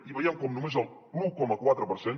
i veiem com només l’un coma quatre per cent